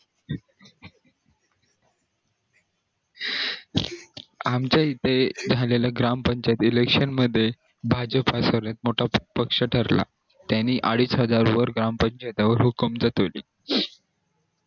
आमच्या इथे झालेल्या ग्राम पंचायती election मध्ये भाजप हा सर्वात मोठा पक्ष ठरला त्यांनी अडीच हजारावर ग्राम पंचायतीवर जातवली